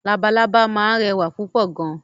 Lalalábá máa ń rẹwà púpọ̀ gan.